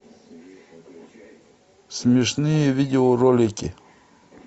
смешные видеоролики